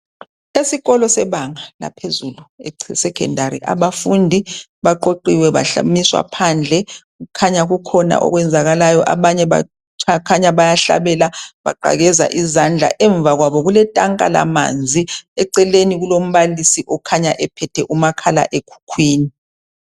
Eaikolo sebanga laphezulu esekhendari abafundi baqoqiwe bamiswa phandle kukhanya kukhona okwenzakalayo abanye bakhanya bayahlabela baqakeza izandla emva kwabo kuletanka lamanzi eceleni kulombalisi okhanya ephethe umakhala ekhuhkwini